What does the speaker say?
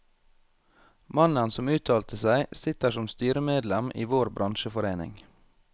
Mannen som uttalte seg, sitter som styremedlem i vår bransjeforening.